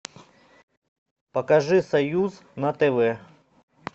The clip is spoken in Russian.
покажи союз на тв